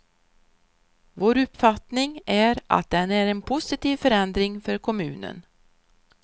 Vår uppfattning är att den är en positiv förändring för kommunen.